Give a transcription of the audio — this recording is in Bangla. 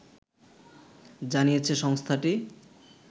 জানিয়েছে সংস্থাটি